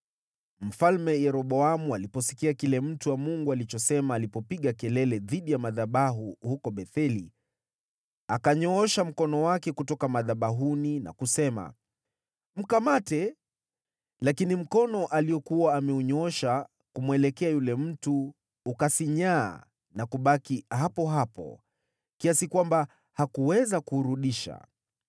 Mfalme Yeroboamu aliposikia kile mtu wa Mungu alichosema, alipopiga kelele dhidi ya madhabahu huko Betheli, akanyoosha mkono wake kutoka madhabahuni na kusema, “Mkamate!” Lakini mkono aliokuwa ameunyoosha kumwelekea yule mtu ukasinyaa na kubaki hapo hapo, kiasi kwamba hakuweza kuurudisha.